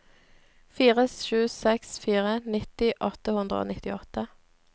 fire sju seks fire nitti åtte hundre og nittiåtte